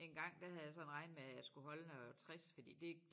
Engang der havde jeg sådan regnet med at jeg skulle holde noget 60 fordi det